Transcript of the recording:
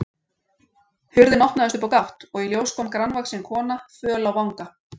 Hurðin opnaðist upp á gátt og í ljós kom grannvaxin kona, föl á vanga.